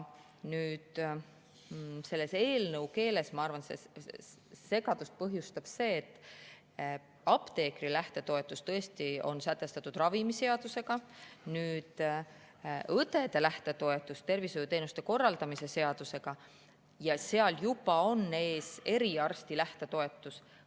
Eelnõus, ma arvan, põhjustab segadust see, et apteekrite lähtetoetus on sätestatud ravimiseadusega, õdede lähtetoetus tervishoiuteenuste korraldamise seadusega ja seal juba on ees eriarstide lähtetoetus.